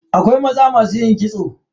Akwai maza masu yin kitso.